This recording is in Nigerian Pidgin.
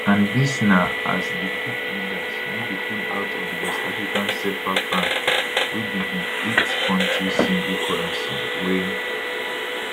and dis na as di coup leaders no dey pull out of di west african cfa franc wey be di eight kontri single currency wey